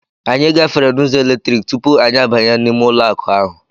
Anyị gafere n'ụzọ eletrọnik tupu anyị abanye n'ime ụlọ akụ ahụ.